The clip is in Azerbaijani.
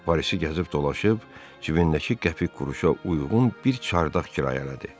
Parisdə gəzib dolaşıb cibindəki qəpik quruşa uyğun bir çardaq kirayələdi.